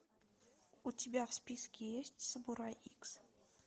у тебя в списке есть самурай икс